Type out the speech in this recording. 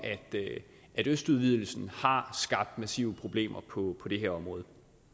at østudvidelsen har skabt massive problemer på det her område